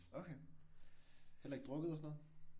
Okay. Heller ikke drukket og sådan noget?